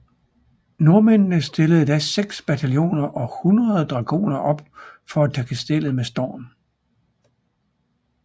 Nordmændene stillede da seks bataljoner og hundrede dragoner op for at tage kastellet med storm